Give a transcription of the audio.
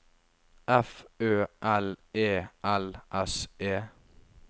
F Ø L E L S E